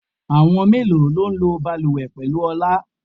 Àwọn mélòó lọ ń lọ bàlùwẹ̀ pẹ̀lú Ọlá?